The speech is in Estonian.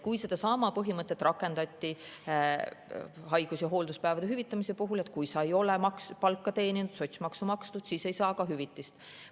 Sedasama põhimõtet rakendati haigus‑ ja hoolduspäevade hüvitamise puhul: kui sa ei ole palka teeninud ja sotsiaalmaksu maksnud, siis ei saa ka hüvitist.